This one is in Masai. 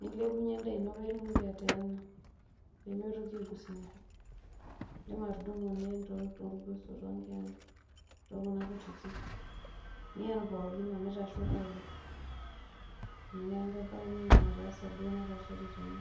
nilepunye edaa ino pee itumoki ateena pee mitoki aigusa enkop. idim atudumu niyen toorgoso, too nkeenta. too kuna kutitik, niyen pookin omeitasho pookin.